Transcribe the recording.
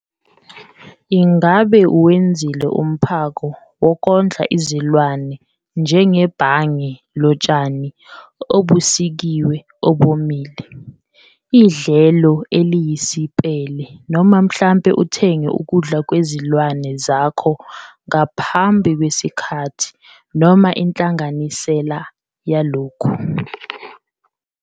Ngabe uwenzile umphako wokondla izilwane njengebhange lotshani obusikiwe obomile, idlelo eliyisipele noma mhlampe uthenge ukudla kwezilwane zakho ngaphambi kwesikhathi noma inhlanganisela yalokhu?